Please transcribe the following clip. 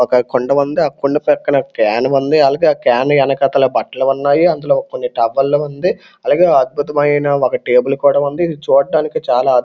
ఒక కుండ ఉంది. ఆ కుండ పక్కన కేను ఉంది. అలగే ఆ కేన్ ఎనకాతల బట్టలు ఉన్నాయి. అందులో కొన్ని టవలు ఉంది. అలగే అద్భుతమైన ఒక టేబుల్ కూడా ఉంది. ఇది చూడ్డానికి చాలా అద్భు--